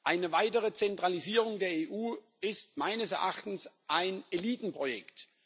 Eine weitere Zentralisierung der EU ist meines Erachtens ein Elitenprojekt.